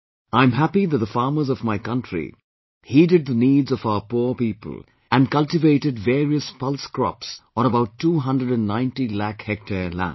I am happy that the farmers of my country heeded the needs of our poor people and cultivated various pulse crops on about 290 lakh hectare land